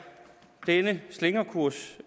denne slingrekurs